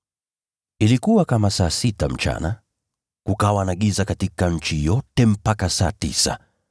Ilikuwa kama saa sita mchana, nalo giza likafunika nchi yote hadi saa tisa,